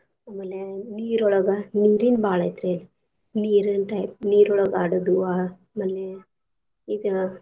ಆಮೇಲೆ ನೀರ್ ಒಳಗ ನೀರಿಂದ್ ಬಾಳ್ ಐತ್ರೀ ಅಲ್ಲೆ ನಿರೀನ್ ನೀರ್ ಒಳಗ್ ಅಡೋದು ಆ~ ಆಮೇಲೆ ಇದ್.